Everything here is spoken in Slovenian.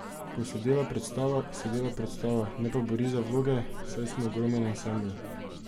Ko se dela predstava, se dela predstava, ne pa bori za vloge, saj smo ogromen ansambel.